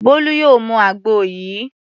Bólú yóò mu àgbo yìí.